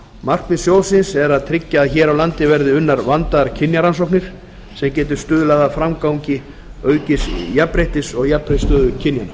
markmið sjóðsins er að tryggja að hér á landi verði unnar vandaðar kynjarannsóknir sem geti stuðlað að framgangi aukins jafnréttis og jafnri stöðu kynjanna